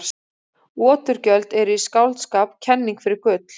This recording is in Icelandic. Oturgjöld eru í skáldskap kenning fyrir gull.